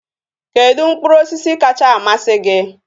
Kedụ mkpụrụ osisi kacha amasị gị?